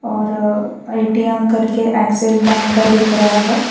और ए_टी_एम करके Axis bank का दिख रहा है।